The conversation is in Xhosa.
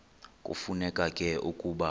kufuneka ke ukuba